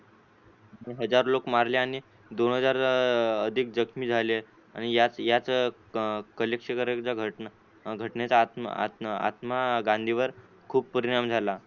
हजार लोक मारले आणि दोन हजार अधिक जखमी झाले आणि याच याच घटनेचा आत्मा आत्मा आत्मा गांधीवर खूप परिणाम झाला.